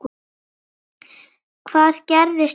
Hvað gerist í kvöld?